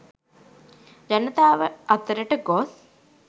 ජනතාව අතරට ගොස්